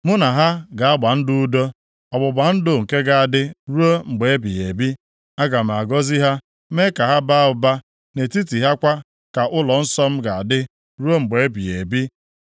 Mụ na ha ga-agba ndụ udo, ọgbụgba ndụ nke ga-adị ruo mgbe ebighị ebi. Aga m agọzi ha, mee ka ha baa ụba. Nʼetiti ha kwa ka ụlọnsọ m ga-adị ruo mgbe ebighị ebi.